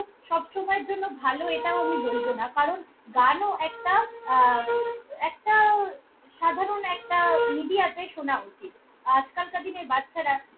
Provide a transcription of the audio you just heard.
সবসময়ের জন্য ভালো এটাও আমি বলব না কারণ গানও একটা আহ একটা সাধারণ একটা media তে শোনা উচিত। আজকালকার দিনের বাচ্ছারা খু~।